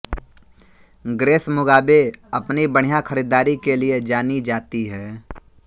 grace Mugabe अपनी बढ़िया ख़रीदारी के लिए जानी जाती है